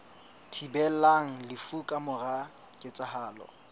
thibelang lefu ka mora ketsahalo